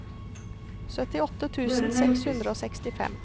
syttiåtte tusen seks hundre og sekstifem